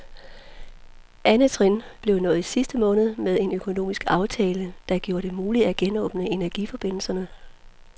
Andet trin blev nået i sidste måned med en økonomisk aftale, der gjorde det muligt at genåbne energiforbindelserne.